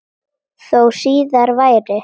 Þó síðar væri.